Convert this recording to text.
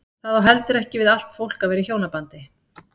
Það á heldur ekki við allt fólk að vera í hjónabandi.